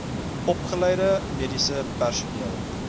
opgeleide mediese personeel